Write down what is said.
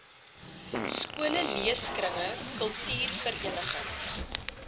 skole leeskringe kultuurverenigings